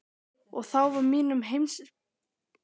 Og þá var mínum heimspekilegu þönkum lokið í bili.